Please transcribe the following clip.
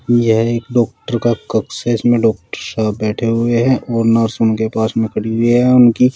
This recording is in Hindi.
यह एक डॉक्टर का कक्ष है जिसमें डॉक्टर साहब बैठे हुए हैं और नर्स उनके पास में खड़ी हुई है और उनकी।